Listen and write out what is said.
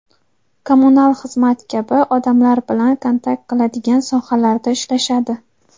kommunal xizmat kabi odamlar bilan "kontakt qiladigan" sohalarda ishlashadi.